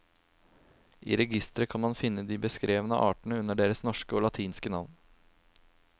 I registeret kan man finne de beskrevne artene under deres norske og latinske navn.